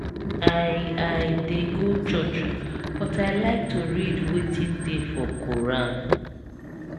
i i dey go church but i like to read wetin dey for quoran